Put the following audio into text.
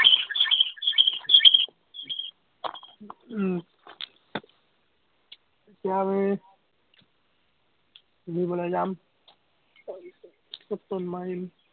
উম এতিয়া আমি ঘুৰিবলে যাম, ফটো মাৰিম।